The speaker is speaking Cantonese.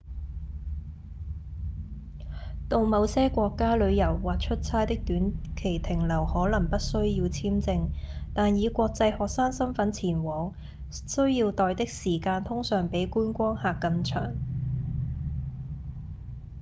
到某些國家旅遊或出差的短期停留可能不需要簽證但以國際學生身分前往需要待的時間通常比觀光客更長